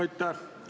Aitäh!